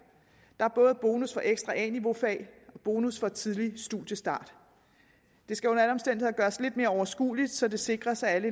der er både bonus for ekstra a niveau fag og bonus for tidlig studiestart det skal under alle omstændigheder gøres lidt mere overskueligt så det sikres at alle